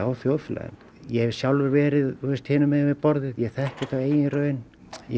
á þjóðfélaginu ég hef sjálfur verið hinum megin við borðið ég þekki þetta af eigin raun